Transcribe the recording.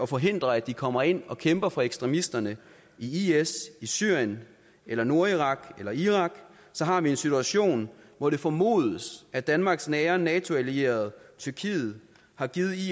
forhindre at de kommer ind og kæmper for ekstremisterne i is i syrien eller nordirak eller irak så har vi en situation hvor det formodes at danmarks nære nato allierede tyrkiet har givet is